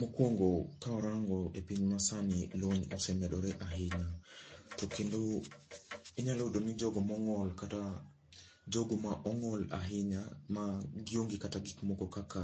Mokwongo kawarango e piny masani lony osemedore ahinya. To kendo, inyalo yudo ni jogo mong'ol kata jogo ma ong'ol ahinya ma gionge kata gik moko kaka